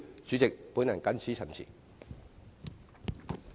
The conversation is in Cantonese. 主席，我謹此陳辭。